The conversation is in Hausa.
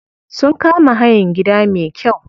Sun kama hayan gida me kyau.